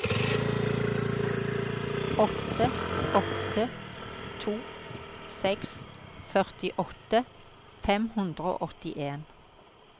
åtte åtte to seks førtiåtte fem hundre og åttien